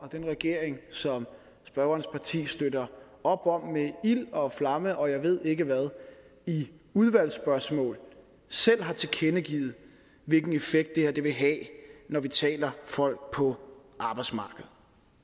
den regering som spørgerens parti støtter op om med ild og flamme og jeg ved ikke hvad i udvalgsspørgsmål selv har tilkendegivet hvilken effekt det her vil have når vi taler folk på arbejdsmarkedet